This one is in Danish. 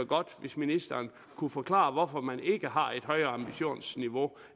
godt hvis ministeren kunne forklare hvorfor man ikke har et højere ambitionsniveau